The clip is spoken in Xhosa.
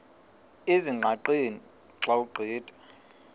ezingqaqeni xa ugqitha